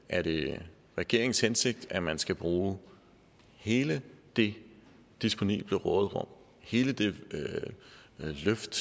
er det regeringens hensigt at man skal bruge hele det disponible råderum hele det løft